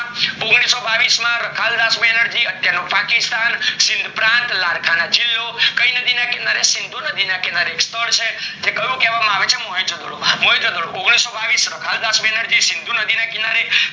ઓગણીસો બાવીસ માં રખાલ્દાસ બનેરજી અત્યારનું પાકિસ્તાન સિંધ પ્રાંત લાડકાના જીલ્લો કાય નદી ના કિનારે સિંધુ નદી ના કિનારે એ સ્થળ કયું કેવા આવે છે મોહેજ જો ડેરો મોહેજ જો ડેરો ઓગણીસો બાવીસ રાખલ દસ બેનર્જી સિંધુ નદી ના કીનારે